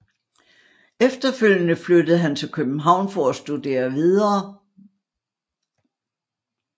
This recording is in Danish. Efterfølgende flyttede han til København for at studere videre